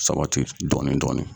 Sabati dɔɔni dɔɔni.